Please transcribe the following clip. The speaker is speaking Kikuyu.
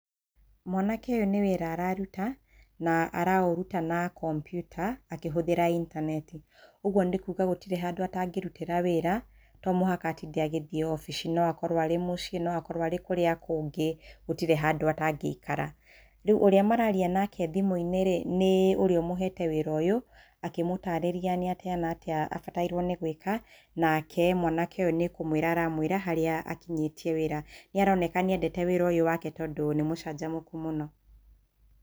Mwanake ũyũ nĩ wĩra araruta na araũruta na kompiuta akĩhũthĩra intaneti ũguo nĩkuga gũtirĩ handũ atangĩrutĩra wĩra to mũhaka atinde agĩthiĩ obici no akorwo arĩ mũciĩ no akorwo arĩ kũrĩa kũngĩ gũtirĩ handũ atangĩikara, rĩu ũrĩa mararia nake thimũ-inĩ rĩ nĩ ũrĩa ũmũhete wĩra ũyũ akĩmũtarĩria nĩatĩa natĩa abatairwo nĩ gwĩka nake mwanake ũyũ nĩ kũmwĩra ara mwĩra haria akinyĩtie wĩra nĩ aronekana nĩ endete wĩra ũyũ wake tondũ nĩ mũcanjamũku mũno